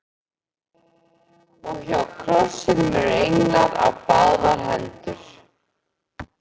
Og hjá krossinum eru englar á báðar hendur